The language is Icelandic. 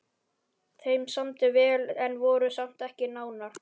Þeim samdi vel en voru samt ekki nánar.